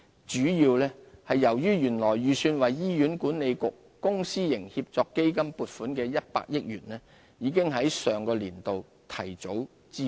主要是由於原來預算為醫院管理局公私營協作基金撥款的100億元，已於 2015-2016 年度提早支付。